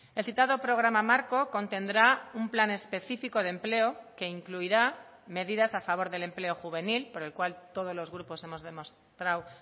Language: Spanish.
el citado programa marco contendrá un plan específico de empleo que incluirá medidas a favor del empleo juvenil por el cual todos los grupos hemos demostrado